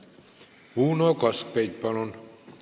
Uno Kaskpeit, palun!